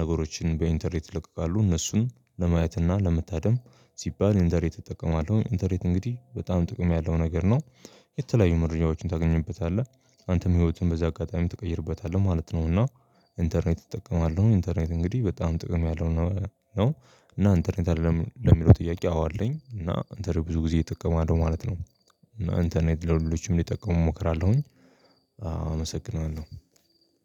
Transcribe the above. ነገሮችን በኢንተርኔት ይለቀቃሉ፣ እነሱን ለማየት እና ለመታደም ሲባል ኢንተርኔት እጠቀማለሁ። ኢንተርኔት እንግዲህ በጣም ጥቅም ያለው ነገር ነው። የተለያዩ መረጃዎችን ታገኝበታለህ፣ አንተም ህይወትህን በዚህ አጋጣሚ ትቀይርበታለህ ማለት ነው እና ኢንተርኔት እጠቀማለሁ። ኢንተርኔት እንግዲህ በጣም ጥቅም ያለው ነው እና ኢንተርኔት አለህ ለሚለው ጥያቄ አዎ አለኝ እና ኢንተርኔት ብዙ ጊዜ እጠቀማለሁ ማለት ነው እና እንትን ኢንተርኔት ለሁሎችም እንዲጠቀሙ እመክራለሁኝ አመሰግናለሁ።